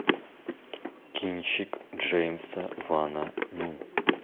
кинчик джеймса вана ну